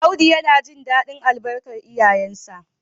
Audu yana jin dadin albarkar iyayensa